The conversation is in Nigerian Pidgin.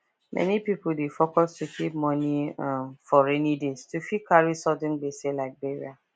many people dey focus to keep moni um for rainy day to fit carry sudden gbese like burial